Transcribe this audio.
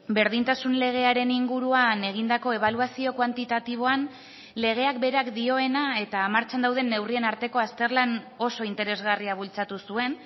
berdintasun legearen inguruan egindako ebaluazio kuantitatiboan legeak berak dioena eta martxan dauden neurrien arteko azterlan oso interesgarria bultzatu zuen